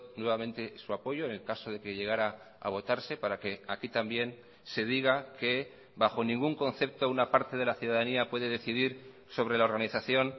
nuevamente su apoyo en el caso de que llegará a votarse para que aquí también se diga que bajo ningún concepto una parte de la ciudadanía puede decidir sobre la organización